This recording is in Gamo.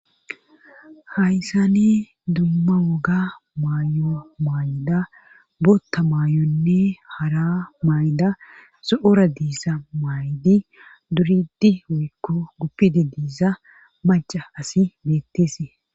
Hayssani dumma woga mayo maayda bootta maayonne hara mayda zo'ora diiza maydi duridi woykko guppidi diiza maca asi beetteese.